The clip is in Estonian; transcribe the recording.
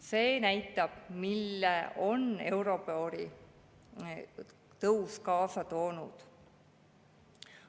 See näitab, mille euribori tõus on kaasa toonud.